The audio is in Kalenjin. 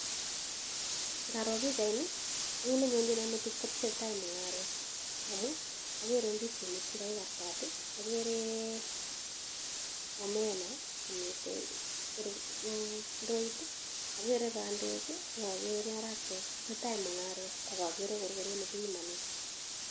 Ngaro pichaini, kiit nenyonchino metit kotesetai mungaretamun ageere ndisinik che kakikartat, ageere omena miten ndoit, ageere bandek ak ageere marakwek, tesetai mungaret ak ageere korokoret nekipimane.